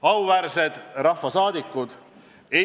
Auväärsed rahvasaadikud!